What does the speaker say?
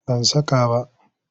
Ban saka ba.